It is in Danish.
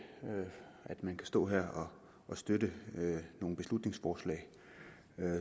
at man kan stå her og støtte nogle beslutningsforslag